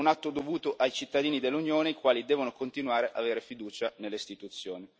è un atto dovuto ai cittadini dell'Unione i quali devono continuare avere fiducia nelle Istituzioni.